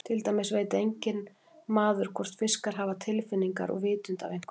Til dæmis veit enginn maður hvort fiskar hafa tilfinningar og vitund af einhverju tagi.